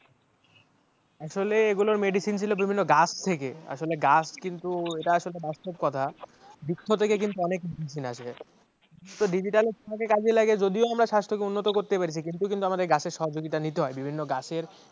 আসলে এই গুলোর medicine ছিল বিভিন্ন গাছ থেকে আসলে গাছ কিন্তু এটা আসলে বাস্তব কথা বৃক্ষ থেকে কিন্তু অনেক medicine আসবে digital তা কাজে লাগে যদিও আমরা স্বাস্থ্যকে উন্নত করতে পেরেছি কিন্তু আমাদের গাছের সহযোগিতা নিতে হয় বিভিন্ন গাছের